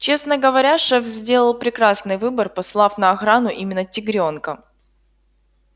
честно говоря шеф сделал прекрасный выбор послав на охрану именно тигрёнка